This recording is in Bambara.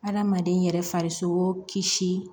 Adamaden yɛrɛ farisokoo kisi